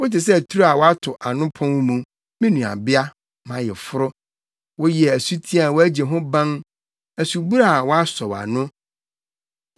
Wote sɛ turo a wɔato ano pon mu, me nuabea, mʼayeforo; woyɛ asuti a wɔagye ho ban, asubura a wɔasɔw ano.